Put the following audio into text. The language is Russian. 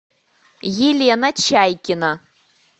елена чайкина